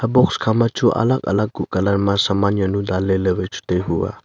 box khama chu alag alag kuk colour ma saman juanu danley leywai chu tai hu aa.